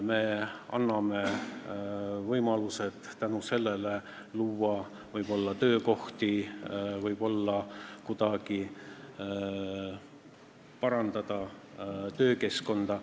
Me anname võimaluse luua tänu sellele võib-olla töökohti, kuidagi parandada töökeskkonda.